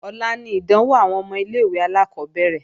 Ọ̀la ni ìdánwò àwọn ọmọ ilé-ìwé alákọ́bẹ̀rẹ̀